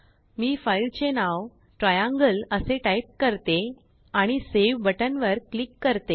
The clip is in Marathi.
मी फाईलचे नावTriangleअसे टाईप करते आणिSaveबटन वर क्लीक करते